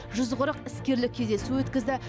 жүз қырық іскерлік кездесу өткізді